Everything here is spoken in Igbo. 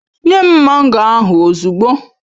Nye m mango ahụ ozugbo!